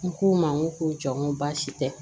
N k'u ma n ko ko jɔ n ko baasi tɛ